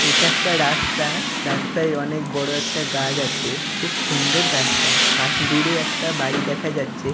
এটা একটা রাস্তা-আ রাস্তায় অনেক বড়ো একটা গাছ আছে খুব সুন্দর গাছটা। পাস্-- দূরে একটা বাড়ি দেখা যাচ্ছে--